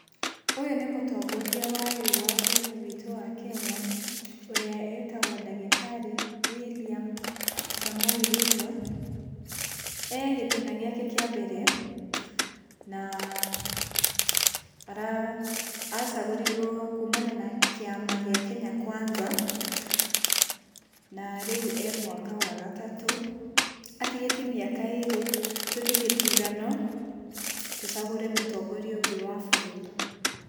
Ũyũ nĩ mũtongoria wa rĩu wa Bũrũri witũ wa Kenya ũrĩa wĩtagwo Ndagĩtarĩ William Somoei Ruto. Ee gĩtĩna gĩake kĩa mbere na acagũrirwo kuumana na kĩama gĩa Kenya Kwanza, na rĩu e mwaka wa gatatũ. Atigĩtie mĩaka ĩĩrĩ tũthiĩ gĩthurano tũcagure mũtongoria ũngĩ wa bũrũri.